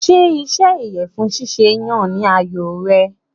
Ṣé iṣẹ́ ìyẹ̀fun ṣíṣe yàn ni àyò rẹ?